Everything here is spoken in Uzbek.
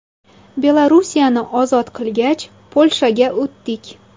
Belorussiyani ozod qilgach, Polshaga o‘tdik.